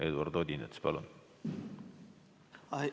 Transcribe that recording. Eduard Odinets, palun!